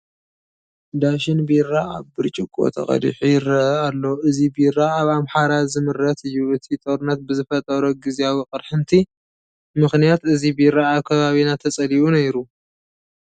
ዳሽን ቢራ ኣብ ብርጭቆ ተቐዲሑ ይርአ ኣሎ፡፡ እዚ ቢራ ኣብ ኣምሓራ ዝምረት እዩ፡፡ እቲ ጦርነት ብዝፈጠሮ ግዚያዊ ቅርሕንቲ ምኽንያት እዚ ቢራ ኣብ ከባቢና ተፀሊኡ ነይሩ፡፡